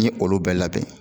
N ye olu bɛɛ labɛn